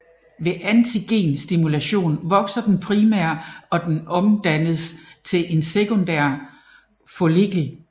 Ved antigenstimulation vokser den primære og og omdannes til en sekundær follikel